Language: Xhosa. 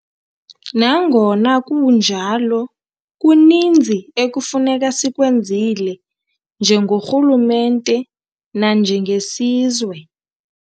Nangona kunjalo, kuninzi ekufuneka sikwenzile, nje gorhulumente nanjengesizwe.